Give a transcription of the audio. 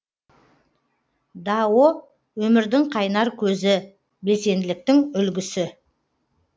дао өмірдің қайнар көзі белсенділіктің үлгісі